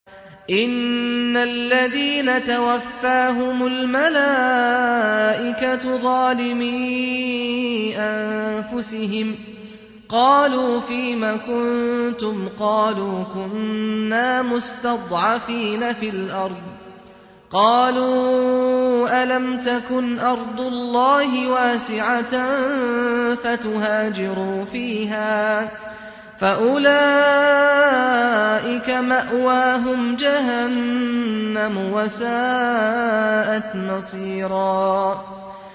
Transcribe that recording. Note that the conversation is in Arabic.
إِنَّ الَّذِينَ تَوَفَّاهُمُ الْمَلَائِكَةُ ظَالِمِي أَنفُسِهِمْ قَالُوا فِيمَ كُنتُمْ ۖ قَالُوا كُنَّا مُسْتَضْعَفِينَ فِي الْأَرْضِ ۚ قَالُوا أَلَمْ تَكُنْ أَرْضُ اللَّهِ وَاسِعَةً فَتُهَاجِرُوا فِيهَا ۚ فَأُولَٰئِكَ مَأْوَاهُمْ جَهَنَّمُ ۖ وَسَاءَتْ مَصِيرًا